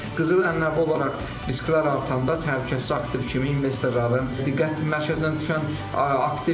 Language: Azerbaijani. Qızıl ənənəvi olaraq risklər artanda təhlükəsiz aktiv kimi investorların diqqət mərkəzinə düşən aktivdir.